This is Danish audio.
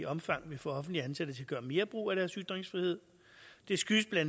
omfang vil få offentligt ansatte til at gøre mere brug af deres ytringsfrihed det skyldes bla